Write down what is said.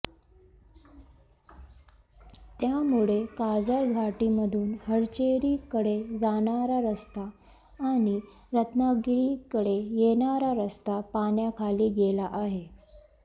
त्यामुळे काजरघाटीमधून हरचेरीकडे जाणारा रस्ता आणि रत्नागिरीकडे येणारा रस्ता पाण्याखाली गेला आहे